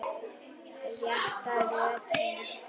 Rétta röðin.